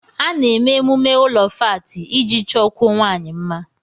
A na eme emume ụlọ fáátị iji chọkwụó nwanyi mma